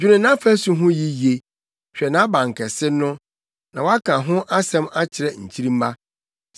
dwene nʼafasu ho yiye, hwɛ nʼabankɛse no, na woaka ho asɛm akyerɛ nkyirimma.